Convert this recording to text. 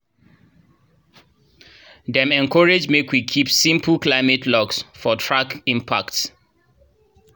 dem encourage make we keep simple climate logs to track impacts